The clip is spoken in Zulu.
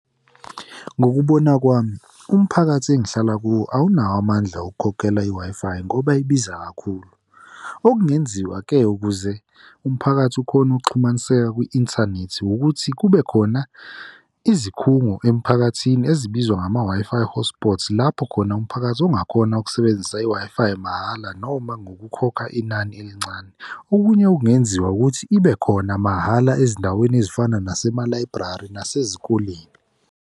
Ngokubona kwami, umphakathi engihlala kuwo awunawo amandla okukhokhela i-Wi-Fi ngoba ibiza kakhulu. Okungenziwa ke, ukuze umphakathi ukhone ukuxhumaniseka kwi-inthanethi ukuthi kube khona izikhungo emiphakathini ezibizwa ngama-Wi-Fi hotspots lapho khona umphakathi ongakhona ukusebenzisa i-Wi-Fi mahhala noma ngokukhokha inani elincane. Okunye okungenziwa ukuthi ibe khona mahhala ezindaweni ezifana nasema-library nasezikoleni.